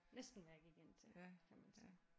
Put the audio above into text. Næsten hvad jeg gik ind til kan man sige